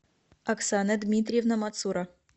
оксана дмитриевна мацура